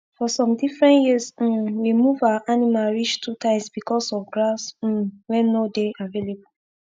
for some different years um we move our animal reach two times because of grass um wen nor dey avalaible